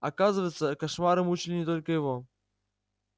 оказывается кошмары мучили не только его